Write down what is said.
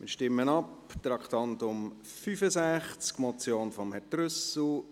Wir stimmen über das Traktandum 65 ab, eine Motion von Grossrat Trüssel.